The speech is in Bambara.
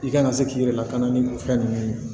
I kana se k'i yɛrɛ lakana ni fɛn ninnu ye